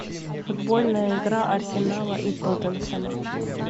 футбольная игра арсенала и тоттенхэма